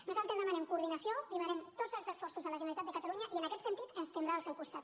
nosaltres demanem coordinació i demanem tots els esforços a la generalitat de catalunya i en aquest sentit ens tindrà al seu costat